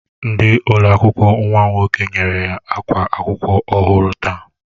Ndi ụlọ akwụkwọ nwam nwoke nyere ya akwa akwụkwọ ọhụrụ taa